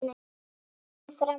Berið fram volgt.